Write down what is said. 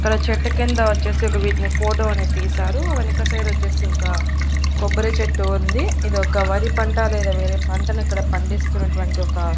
ఇక్కడ చెట్టు కింద వచ్చేసి ఒక వీటిని ఫోటో అనేది తీశారు వెనక సైడొచ్చేసి ఒక కొబ్బరి చెట్టు ఉంది ఇది ఒక వరి పంట లేదా వేరే పంటను ఇక్కడ పండిస్తున్నటువంటి ఒక --